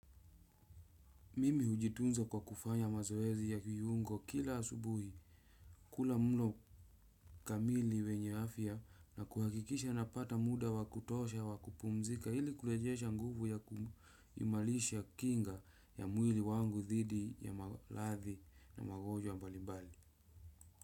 Mimi hujitunza kwa kufanya mazoezi ya viungo kila asubuhi kula mlo kamili wenye afya na kuhakikisha napata muda wa kutosha wa kupumzika ili kurejesha nguvu ya kuimarisha kinga ya mwili wangu dhidi ya maradhi na magonjwa mbalimbali.